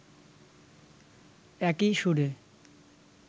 একই সুরে